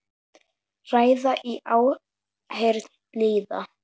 Ræða í áheyrn lýða.